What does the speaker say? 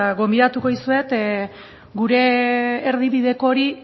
gonbidatuko dizuet gure erdibideko hori